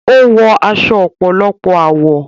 Ó wọ aṣọ ọ̀pọ̀lọpọ̀ àwọ̀.